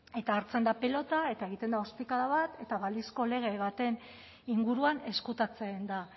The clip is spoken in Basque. eta hartzen da pilota eta egiten da ostikada bat eta balizko lege baten inguruan ezkutatzen da